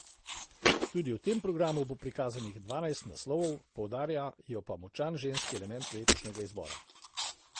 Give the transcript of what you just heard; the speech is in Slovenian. Tudi v tem programu bo prikazanih dvanajst naslovov, poudarjajo pa močan ženski element letošnjega izbora.